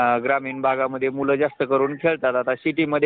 एकमेकांशी परस्पर जुळलेली नाती